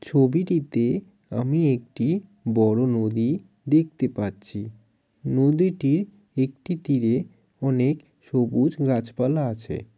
ছবিটিতে আমি একটি বড়ো নদী দেখতে পাচ্ছি নদীটির একটি তীরে অনেক সবুজ গাছপালা আছে।